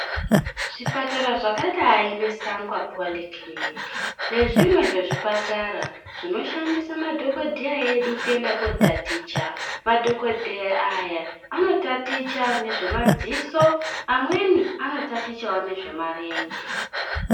Zvipatara zvakadai nge sangwa poli kiliniki nezvimwe zvezvipatara zvinoshandisa madhokodheya edu kuenda kootaticha. Madhokodheya aya anotaticha nezvemadziso, amweni anotatichawo nezvemarenje.